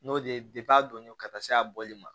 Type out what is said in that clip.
N'o de ye a donnen don ka taa se a bɔli ma